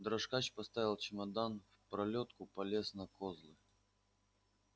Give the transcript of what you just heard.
дрожкач поставил чемодан в пролётку полез на козлы